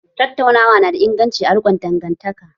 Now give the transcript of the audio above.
Tattaunawa na da inganci a rikon dangantaka